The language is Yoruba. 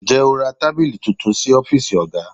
Ǹjẹ́ o ra tábìlì tuntun sí ọ́fíìsì oga?